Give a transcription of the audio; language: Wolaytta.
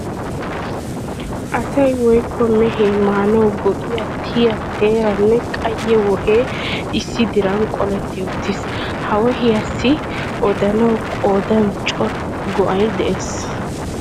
Asay woykko mehee maanawu go'iya tiya teera nne qayye wohee issi diran qoletti uttiis. Ha wohiyassi odanawu qoodan cora go'ay de'es.